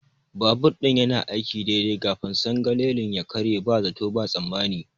Babur ɗin yanayin aiki daidai kafin sangalalin ya karye ba zato ba tsammani.